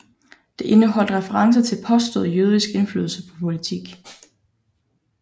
Det indeholdt referencer til påstået jødisk indflydelse på politik